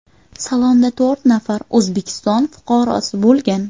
Salonda to‘rt nafar O‘zbekiston fuqarosi bo‘lgan.